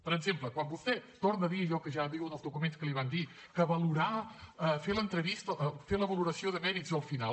per exemple quan vostè torna a dir allò que ja diuen els documents que li van dir que valorar fer l’entrevista fer la valoració de mèrits al final